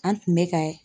An tun bɛ ka